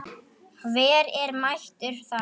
Hver er mættur þar?